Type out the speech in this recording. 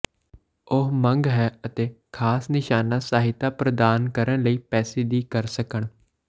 ਉਹ ਮੰਗ ਹੈ ਅਤੇ ਖਾਸ ਨਿਸ਼ਾਨਾ ਸਹਾਇਤਾ ਪ੍ਰਦਾਨ ਕਰਨ ਲਈ ਪੈਸੇ ਦੀ ਕਰ ਸਕਣ